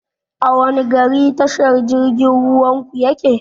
A wanne gari tashar jirgin ruwan ku yake?